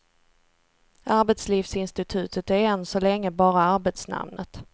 Arbetslivsinstitutet är än så länge bara arbetsnamnet.